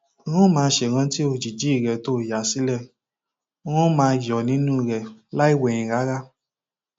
n ó máa ṣèrántí òjijì rẹ tó o yà sílẹ n ó máa yọ nínú rẹ lọ láì wẹyìn rárá